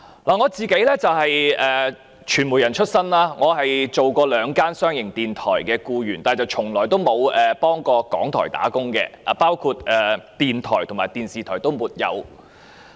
我是傳媒人出身，曾是兩間商營電台的僱員，但從沒有在香港電台工作，不論電台或電視台也沒有。